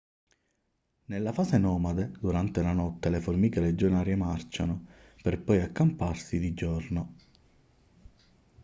nella fase nomade durante la notte le formiche legionarie marciano per poi accamparsi di giorno